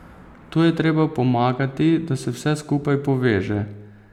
Tu je treba pomagati, da se vse skupaj poveže.